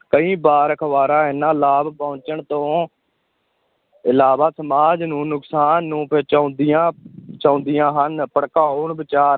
ਕਈ ਵਾਰ ਅਖ਼ਬਾਰਾਂ ਐਨਾ ਲਾਭ ਪਹੁੰਚਣ ਤੋਂ ਇਲਾਵਾ ਸਮਾਜ ਨੂੰ ਨੁਕਸਾਨ ਨੂੰ ਪਹੁੰਚਾਉਂਦੀਆਂ ਪਹੁੰਚਾਉਂਦੀਆਂ ਹਨ, ਭੜਕਾਊਂ ਵਿਚਾਰ